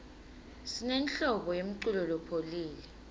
sinenhlobo yemiculo lopholile